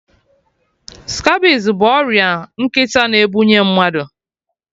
Scabies bụ ọrịa nkịta na-ebunye mmadụ